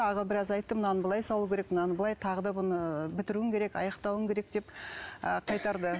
аға біраз айтты мынаны былай салу керек мынаны былай тағы да бұны ыыы бітіруің керек аяқтауың керек деп ы қайтарды